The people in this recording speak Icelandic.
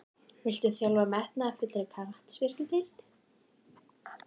Viltu þjálfa hjá metnaðarfullri knattspyrnudeild?